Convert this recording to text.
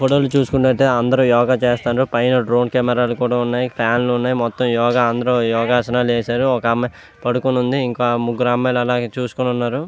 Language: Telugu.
ఈ ఫోటో చుస్తునటు అయతె అందరు యోగ చేస్తున్నారు. పైన డ్రోన్ కెమెరా లు కూడా వున్నాయి. మొత్తం అందరు యోగ యోగ అసనల్లు వేసారు. ఒక అమ్మాయి పడుకొని వుంది. ఇంకో ముగురు అమ్మాయిలు చూస్తూ వున్నారు.